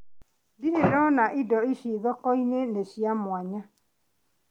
Ndire ndona indo ici thoko-inĩ , nĩ cia mwanya.